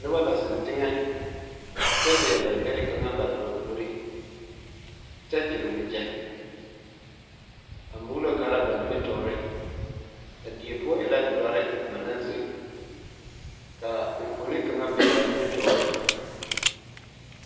Noba la zeŋ teŋɛ kyɛ leɛ ba ɡbɛre kaŋ bare puorikyɛ ɡyere waɡyɛ a muulo kaara ba nimitɔɔre a die poɔ e la dɔre ba naŋ zeŋ ka enfuoni kaŋa be a nimitɔɔre.